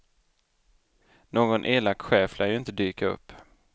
Någon elak chef lär ju inte dyka upp.